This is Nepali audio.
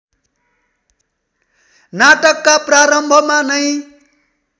नाटकका प्रारम्भमा नै